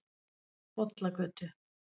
Bollagötu